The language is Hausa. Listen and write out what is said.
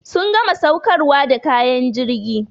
Sun gama saukarwa da kayan jirgi.